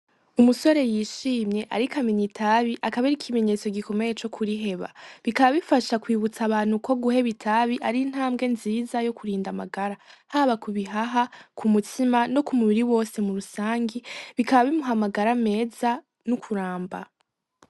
Umusore y' ishimye ariko amena itabi akaba ari ikimenyetso gikomeye co kuriheba bikaba bifasha kwibutsa abantu ko guheba itabi ari intambwe nziza yo kurinda amagara haba kubihaha, kumutima no kumubiri wose kurusangi bikaba bimuha amagara meza no kuramba.